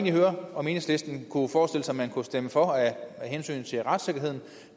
høre om enhedslisten kunne forestille sig at man kunne stemme for af hensyn til retssikkerheden